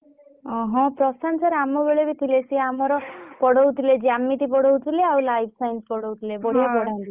ହଁ ପ୍ରଶାନ୍ତ sir ଆମ ବେଳେ ବି ଥିଲେ ସେ ଆମର ପଢଉଥିଲେ ଜ୍ୟାମିତି ପଢଉଥିଲେ ଆଉ Life Science ପଢଉଥିଲେ ଭଲ ପଢାନ୍ତି ସେ।